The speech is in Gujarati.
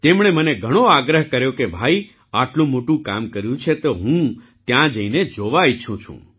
તેમણે મને ઘણો આગ્રહ કર્યો કે ભાઈ આટલું મોટું કામ કર્યું છે તો હું ત્યાં જઈને જોવા ઈચ્છું છું